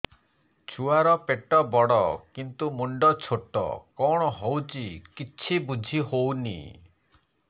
ଛୁଆର ପେଟବଡ଼ କିନ୍ତୁ ମୁଣ୍ଡ ଛୋଟ କଣ ହଉଚି କିଛି ଵୁଝିହୋଉନି